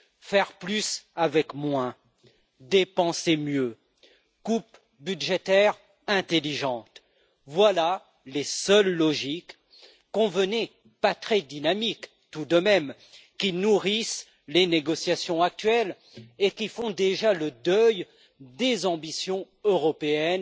Faire plus avec moins, dépenser mieux, coupes budgétaires intelligentes, voilà les seules logiques convenez en, pas très dynamiques, tout de même qui nourrissent les négociations actuelles et qui font déjà le deuil des ambitions européennes,